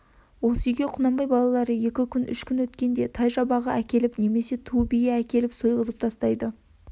осы үйге құнанбай балалары екі күн үш күн өткенде тай жабағы әкеліп немесе ту бие әкеліп сойғызып тастайды